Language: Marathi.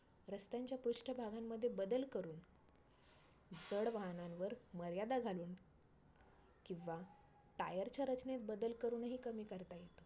रस्त्यांच्या पृष्ठ भागांमध्ये बदल करुन, जड वाहनांवर मर्यादा घालून किंवा tire च्या रचनेत बदल करुन ही कमी करता येतो.